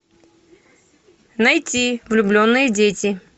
найти влюбленные дети